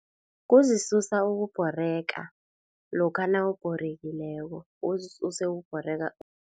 Kuzisusa ukubhoreka lokha nawubhorekileko uzisuse ukubhoreka.